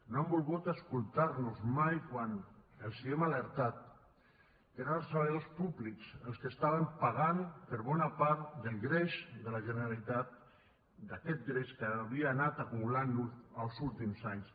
no han volgut escoltar nos mai quan els hem alertat que eren els treballadors públics els que estaven pagant per bona part del greix de la generalitat d’aquest greix que havia anat acumulant els últims anys